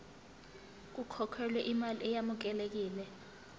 kukhokhelwe imali eyamukelekile